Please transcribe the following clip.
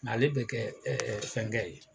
Mɛ ale be kɛ ɛɛ fɛnkɛ ye